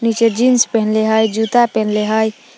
नीचे जींस पेन्हले हइ जूता पेन्हले हइ ।